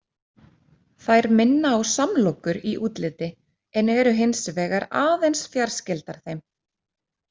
Þær minna á samlokur í útliti en eru hins vegar aðeins fjarskyldar þeim.